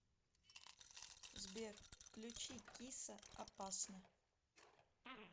сбер включи киса опасно